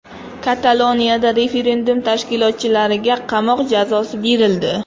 Kataloniyada referendum tashkilotchilariga qamoq jazosi berildi.